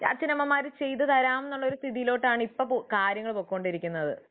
അച്ഛനമ്മമാർ ചെയ്തു തരാം എന്നുള്ള സ്ഥിയിലാണ് ഇന്ന് കാര്യങ്ങൾ പോകുന്നത്